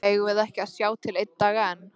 Eigum við ekki að sjá til einn dag enn?